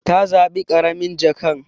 Ta zabi karamin jakan.